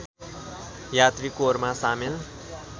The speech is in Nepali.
यात्री कोरमा सामेल